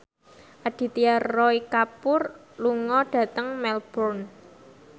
Aditya Roy Kapoor lunga dhateng Melbourne